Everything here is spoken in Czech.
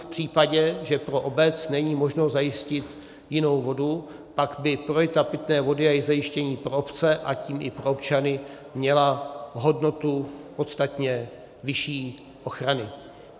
v případě, že pro obec není možno zajistit jinou vodu, pak by priorita pitné vody a její zajištění pro obce, a tím i pro občany měla hodnotu podstatně vyšší ochrany.